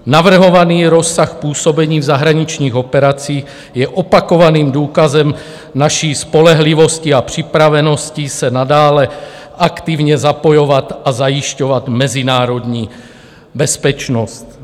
Navrhovaný rozsah působení v zahraničních operacích je opakovaným důkazem naší spolehlivosti a připravenosti se nadále aktivně zapojovat a zajišťovat mezinárodní bezpečnost.